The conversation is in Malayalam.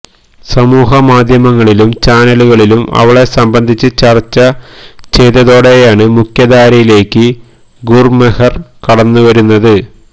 സാമൂഹിക മാധ്യമങ്ങളിലും ചാനലുകളിലും അവളെ സംബന്ധിച്ച് ചര്ച്ച ചെയ് തതോടെയാണ് മുഖ്യധാരയിലേക്ക് ഗുര്മെഹര് കടന്നുവരുന്നത്